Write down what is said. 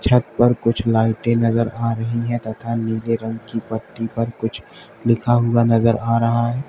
छत पर कुछ लाइटें नजर आ रही है तथा नीले रंग की पट्टी पर कुछ लिखा हुआ नजर आ रहा है।